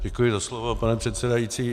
Děkuji za slovo, pane předsedající.